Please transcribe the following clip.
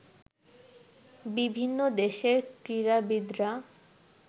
বিভিন্ন দেশের ক্রীড়াবিদরা